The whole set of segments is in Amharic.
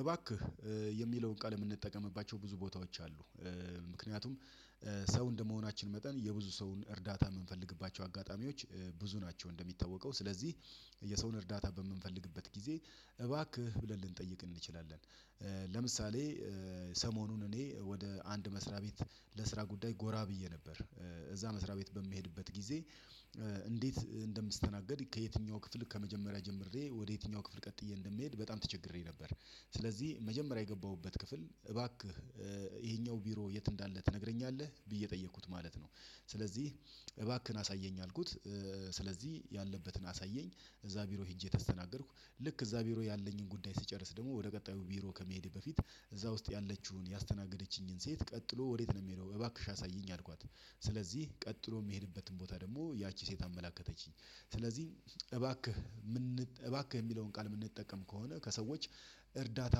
እባክህ የሚለውን ቃል የምንጠቀምባቸው ብዙ ቦታዎች አሉ። ምክንያቱም ሰው እንደመሆናችን መጠን የብዙ ሰውን እርዳታ የምንፈልግባቸው አጋጣሚዎች ብዙ ናቸው እንደሚታወቀው። ስለዚህ የሰውን እርዳታ በምንፈልግበት ጊዜ እባክህ ብለን ልንጠይቅ እንችላለን። ለምሳሌ ሰሞኑን እኔ ወደ አንድ መስሪያ ቤት ለስራ ጉዳይ ጎራ ብዬ ነበር። እዛ መስሪያ ቤት በምሄድበት ጊዜ እንዴት እንደምስተናገድ ከየትኛው ክፍል ከመጀመሪያ ጀምሬ ወደ የትኛው ክፍል ቀጥዬ እንደምሄድ በጣም ተቸግሬ ነበር። ስለዚህ መጀመሪያ የገባሁበት ክፍል እባክህ ይሄኛው ቢሮ የት እንዳለ ትነግረኛለህ? ብዬ ጠየቅኩት ማለት ነው። ስለዚህ እባክህን አሳየኝ አልኩት። ስለዚህ ያለበትን አሳየኝ። እዛ ቢሮ ሄጄ ተስተናገድኩ። ልክ እዛ ቢሮ ያለኝን ጉዳይ ስጨርስ ደግሞ ወደ ቀጣዩ ቢሮ ከመሄዴ በፊት እዛ ውስጥ ያለችውን ያስተናገደችኝን ሴት ቀጥሎ ወዴት ነው የምሄደው እባክሽ አሳይኝ አልኳት። ስለዚህ ቀጥሎ የምሄድበትን ቦታ ደግሞ ያቺ ሴት አመላከተችኝ። ስለዚህ እባክህ እባክህ የሚለውን ቃል የምንጠቀም ከሆነ ከሰዎች እርዳታ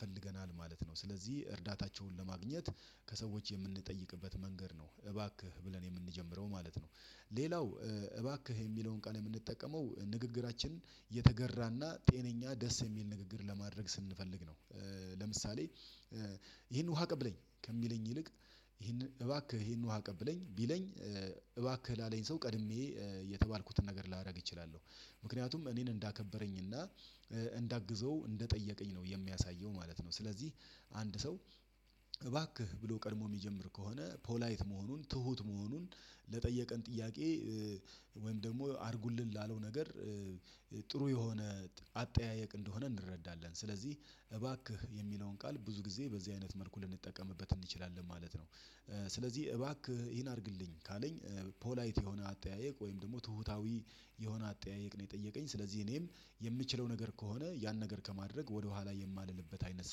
ፈልገናል ማለት ነው። ስለዚህ እርዳታቸውን ለማግኘት ከሰዎች የምንጠይቅበት መንገድ ነው እባክህ ብለን የምንጀምረው ማለት ነው። ሌላው እባክህ የሚለውን ቃል የምንጠቀመው ንግግራችንን የተገራና ጤነኛ ደስ የሚል ንግግር ለማድረግ ስንፈልግ ነው። ለምሳሌ ይሄን ውሃ አቀብለኝ! ከሚለኝ ይልቅ ይሄን እባክህ ይሄን ውሃ አቀብለኝ ቢለኝ እባክህ ላለኝ ሰው ቀድሜ የተባልኩትን ነገር ላደርግ እችላለሁ። ምክንያቱም እኔን እንዳከበረኝና እንዳግዘው እንደጠየቀኝ ነው የሚያሳየው ማለት ነው። ስለዚህ አንድ ሰው እባክህ ብሎ ቀድሞ የሚጀምር ከሆነ ፖላይት መሆኑን ትሁት መሆኑን ለጠየቀን ጥያቄ ወይም ደግሞ አድርጉልን ላለው ነገር ጥሩ የሆነ አጠያየቅ እንደሆነ እንረዳለን። ስለዚህ እባክህ የሚለውን ቃል ብዙ ጊዜ በዚህ አይነት መልኩ ልንጠቀምበት እንችላለን ማለት ነው። ስለዚህ እባክህ ይሄን አድርግልኝ ካለኝ ፖላይት የሆነ አጠያየቅ ወይም ደግሞ ትሁታዊ የሆነ አጠያየቅ ነው የጠየቀኝ። ስለዚህ እኔም የምችለው ነገር ከሆነ ያን ነገር ከማድረግ ወደኋላ የማልልበት አይነት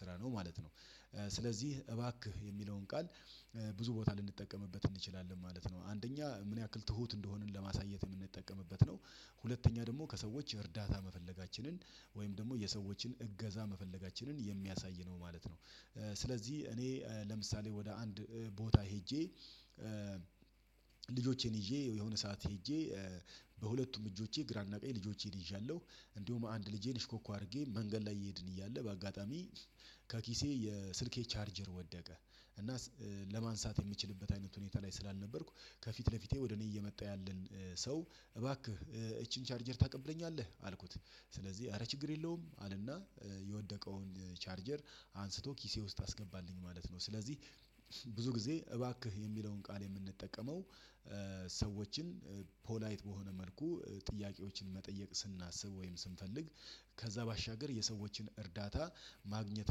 ስራ ነው ማለት ነው። ስለዚህ እባክህ የሚለውን ቃል ብዙ ቦታ ልንጠቀምበት እንችላለን ማለት ነው። አንደኛ ምን ያክል ትሁት እንደሆንን ለማሳየት የምንጠቀምበት ነው። ሁለተኛ ደግሞ ከሰዎች እርዳታ መፈለጋችንን ወይም ደግሞ የሰዎችን እገዛ መፈለጋችንን የሚያሳይ ነው ማለት ነው። ስለዚህ እኔ ለምሳሌ ወደ አንድ ቦታ ሄጄ ልጆቼን ይዤ የሆነ ሰዓት ሄጄ በሁለቱም እጆቼ ግራና ቀኝ ልጆቼን ይዣለሁ። እንደውም አንድ ልጄን እሽኮኮ አድርጌ መንገድ ላይ እየሄድን እያለ በአጋጣሚ ከኪሴ የስልኬ ቻርጀር ወደቀ። እና ለማንሳት የምችልበት አይነት ሁኔታ ላይ ስላልነበርኩ ከፊት ለፊቴ ወደ እኔ እየመጣሁ ያለን ሰው እባክህ እቺን ቻርጀር ታቀብለኛለህ? አልኩት። ስለዚህ አረ ችግር የለውም! አለና የወደቀውን ቻርጀር አንስቶ ኪሴ ውስጥ አስገባልኝ ማለት ነው። ስለዚህ ብዙ ጊዜ እባክህ የሚለውን ቃል የምንጠቀመው ሰዎችን ፖላይት በሆነ መልኩ ጥያቄዎችን መጠየቅ ስናስብ ወይም ስንፈልግ ከዛ ባሻገር የሰዎችን እርዳታ ማግኘት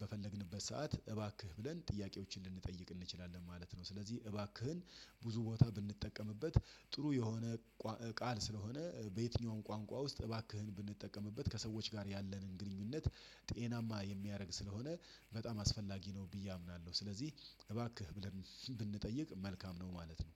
በፈለግንበት ሰዓት እባክህ ብለን ጥያቄዎችን ልንጠይቅ እንችላለን ማለት ነው። ስለዚህ እባክህን ብዙ ቦታ ብንጠቀምበት ጥሩ የሆነ ቃል ስለሆነ በየትኛውም ቋንቋ ውስጥ እባክህን ብንጠቀምበት ከሰዎች ጋር ያለንን ግንኙነት ጤናማ የሚያደርግ ስለሆነ በጣም አስፈላጊ ነው ብዬ አምናለሁ። ስለዚህ እባክህ ብለን ብንጠይቅ መልካም ነው ማለት ነው።